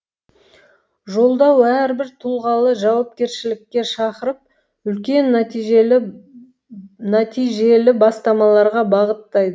жолдау әрбір тұлғалы жауапкершілікке шақырып үлкен нәтижелі бастамаларға бағыттайды